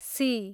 C